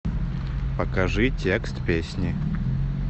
покажи текст песни